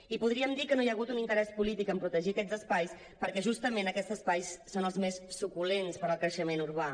i podríem dir que no hi ha hagut un interès polític en protegir aquests espais perquè justament aquests espais són els més suculents per al creixement urbà